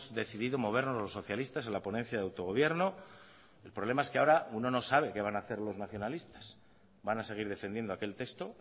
decidido movernos los socialistas en la ponencia de autogobierno el problema es que ahora uno no sabe qué van a hacer los nacionalistas van a seguir defendiendo aquel texto